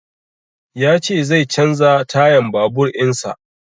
Ya ce zai canza tayan babur in sa